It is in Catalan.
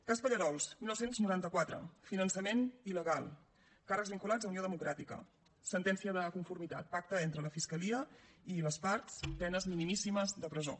cas pallerols dinou noranta quatre finançament il·legal càrrecs vinculats a unió democràtica sentència de conformitat pacte entre la fiscalia i les parts penes minimíssimes de presó